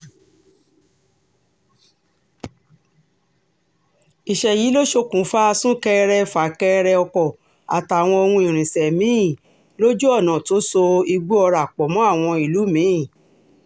ìṣẹ̀lẹ̀ yìí ló ṣokùnfà sún-kẹrẹ-fà-kẹrẹ ọkọ̀ àtàwọn ohun irinṣẹ́ mi-ín lójú ọ̀nà tó so ìgbọ̀ọ́ra pọ̀ mọ́ àwọn ìlú mi-ín